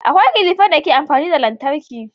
Akwai kilifan da ke amfani da lantarki